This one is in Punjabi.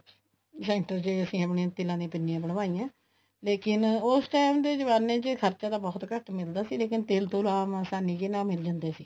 ਅਸੀਂ ਆਪਣੀਆਂ ਤਿੰਨਾ ਦੀਆਂ ਪਿੰਨੀਆ ਬਣਾਈਆਂ ਲੇਕਿਨ ਉਸ time ਦੇ ਜਮਾਨੇ ਚ ਖਰਚਾ ਤਾਂ ਹੁਟ ਘੱਟ ਮਿਲਦਾ ਸੀ ਲੇਕਿਨ ਤਿਲ ਤੁਲ ਆਮ ਆਸਾਨੀ ਨਾਲ ਮਿਲ ਜਾਂਦੇ ਸੀ